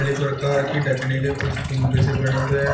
प्रकार के ढकने के कुछ कुंबे से बने हुए।